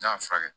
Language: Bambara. N'a y'a furakɛ